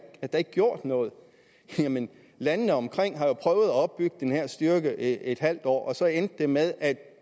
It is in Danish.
har gjort noget jamen landene omkring har jo at opbygge den her styrke i et halvt år og så endte det med at de